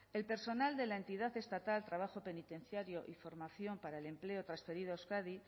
el personal de la entidad estatal trabajo penitenciario y formación para el empleo transferido a euskadi